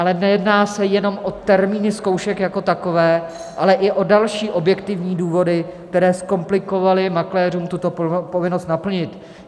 Ale nejedná se jenom o termíny zkoušek jako takové, ale i o další objektivní důvody, které zkomplikovaly makléřům tuto povinnost naplnit.